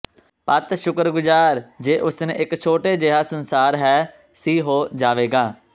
ਪਤ ਸ਼ੁਕਰਗੁਜ਼ਾਰ ਜੇ ਉਸ ਨੇ ਇੱਕ ਛੋਟੇ ਜਿਹਾ ਸੰਸਾਰ ਹੈ ਸੀ ਹੋ ਜਾਵੇਗਾ